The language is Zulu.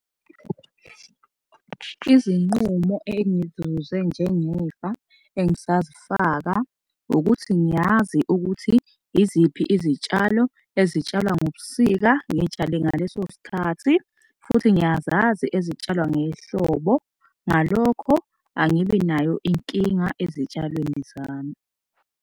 Izinqumo engizuze njengefa engisazifaka ukuthi ngiyazi ukuthi iziphi izitshalo ezitshalwa ngobusika ngiy'tshale ngaleso sikhathi futhi ngiyazazi ezitshalwa ngehlobo. Ngalokho angibi nayo inkinga ezitshalweni zami.